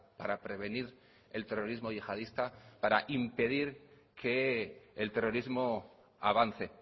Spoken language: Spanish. para prevenir el terrorismo yihadista para impedir que el terrorismo avance